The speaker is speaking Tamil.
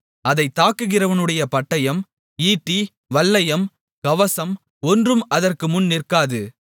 அதைத் தாக்குகிறவனுடைய பட்டயம் ஈட்டி வல்லையம் கவசம் ஒன்றும் அதற்குமுன் நிற்காது